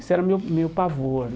Isso era o meu meu pavor.